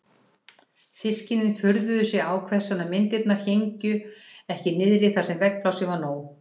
Systkinin furðuðu sig á hvers vegna myndirnar héngu ekki niðri þar sem veggplássið var nóg.